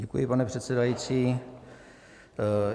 Děkuji, pane předsedající.